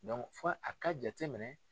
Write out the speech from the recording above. fo a ka jateminɛ.